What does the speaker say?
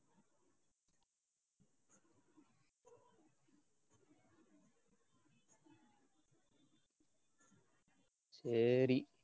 சரி.